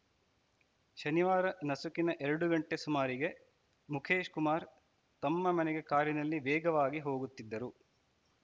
ಶನಿವಾರ ನಸುಕಿನ ಎರಡು ಗಂಟೆ ಸುಮಾರಿಗೆ ಮುಖೇಶ್‌ ಕುಮಾರ್‌ ತಮ್ಮ ಮನೆಗೆ ಕಾರಿನಲ್ಲಿ ವೇಗವಾಗಿ ಹೋಗುತ್ತಿದ್ದರು